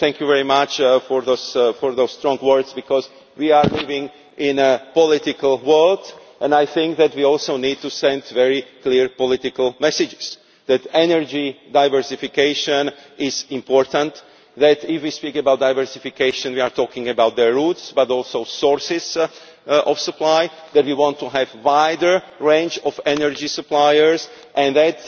Thank you very much for those strong words, because we are living in a political world, and I think that we also need to send very clear political messages that energy diversification is important, that if we speak about diversification we are talking about the routes but also sources of supply, that we want to have a wider range of energy suppliers and that